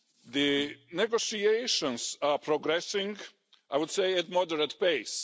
The negotiations are progressing, I would say, at moderate pace.